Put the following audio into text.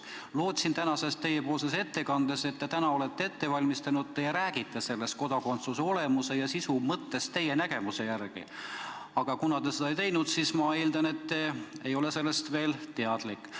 Lootsin, et te oma tänaseks ettekandeks olete ette valmistanud ja te räägite sellest kodakondsuse olemuse ja sisu mõttest teie nägemuse järgi, aga kuna te seda ei teinud, siis ma eeldan, et te ei ole veel sellest teadlik.